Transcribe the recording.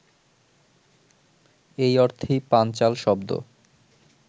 এই অর্থেই পাঞ্চাল শব্দ